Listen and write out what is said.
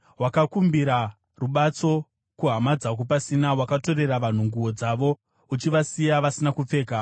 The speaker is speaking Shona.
Wakakumbira rubatso kuhama dzako pasina; wakatorera vanhu nguo dzavo, uchivasiya vasina kupfeka.